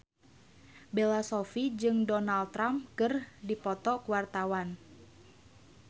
Bella Shofie jeung Donald Trump keur dipoto ku wartawan